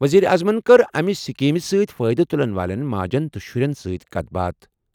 ؤزیٖرِ اعظمَن کٔر امہِ سکیٖمہِ سۭتۍ فٲیدٕ تُلَن والٮ۪ن ماجن تہٕ شُرٮ۪ن سۭتۍ کَتھ باتھ۔